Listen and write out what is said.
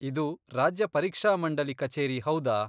ಇದು ರಾಜ್ಯ ಪರೀಕ್ಷಾಮಂಡಲಿ ಕಚೇರಿ ಹೌದಾ?